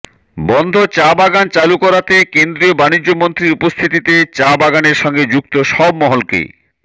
বন্ধ চা বাগান চালু করাতে কেন্দ্রীয় বাণিজ্য মন্ত্রীর উপস্থিতিতে চা বাগানের সঙ্গে যুক্ত সব মহলকে